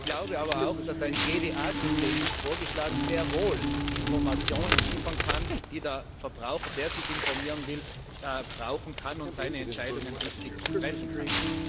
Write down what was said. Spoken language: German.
Ich glaube zweitens aber auch, dass ein GDA System, wie ebenfalls vorgeschlagen, sehr wohl Informationen liefern kann, die der Verbraucher, der sich informieren will, brauchen kann, damit er seine Entscheidungen richtig treffen kann.